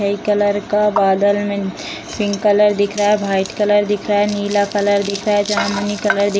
है कलर का बादल में पिंक कलर दिख रहा है व्हाइट कलर दिख रहा है नीला कलर दिख रहा है जामुनी कलर दिख --